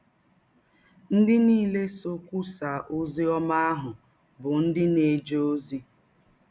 Ndị niile sọ kwụsaa ọzi ọma ahụ bụ ndị na - eje ọzi.